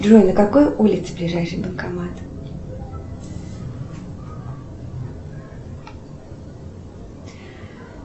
джой на какой улице ближайший банкомат